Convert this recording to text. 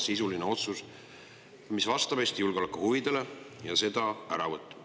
vastab Eesti julgeolekuhuvidele.